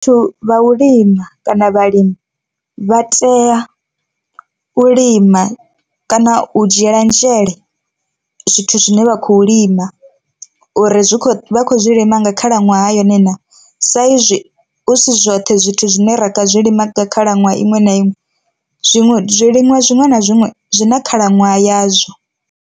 Vhathu vha u lima kana vhalimi vha tea u lima kana u dzhiela nzhele zwithu zwine vha khou lima uri zwi kho vha khou zwi lima nga khalaṅwaha yone naa, sa izwi hu si zwoṱhe zwithu zwine ra zwi lima nga khalaṅwaha iṅwe na iṅwe zwiṅwe zwiliṅwa zwiṅwe na zwiṅwe zwi na khalaṅwaha yazwo.